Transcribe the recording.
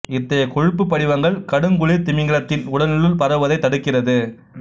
இத்தகைய கொழுப்பு படிவங்கள் கடுங்குளிர் திமிங்கிலத்தின் உடலினுள் பரவுவதைத் தடுக்கிறது